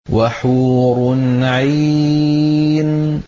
وَحُورٌ عِينٌ